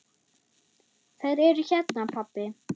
Þær eru hérna, pabbi.